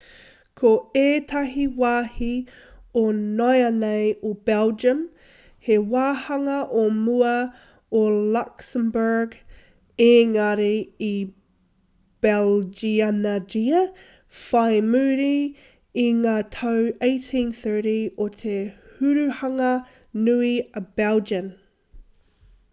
ko ētahi wāhi o nāianei o belgium he wāhanga o mua o luxembourg ēngari i belgianngia whai muri i ngā tau 1830 o te hurihanga nui a belgian